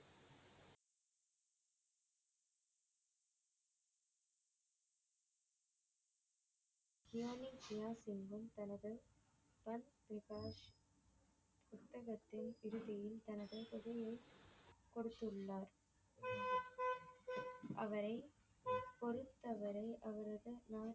கியானி கியான் சிங்கும் தனது பன் பிரகாஷ் புத்தகத்தின் இறுதியில் தனது தொகையை கொடுத்துள்ளார் அவரை பொறுத்தவரை அவரது